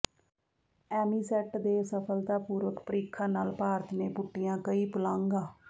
ਐਮੀਸੈੱਟ ਦੇ ਸਫ਼ਲਤਾਪੂਰਵਕ ਪ੍ਰੀਖਣ ਨਾਲ ਭਾਰਤ ਨੇ ਪੁੱਟੀਆਂ ਕਈ ਪੁਲਾਂਘਾਂ